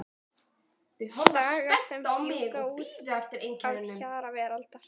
Dagar sem fjúka út að hjara veraldar.